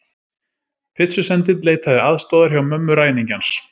Pitsusendill leitaði aðstoðar hjá mömmu ræningjans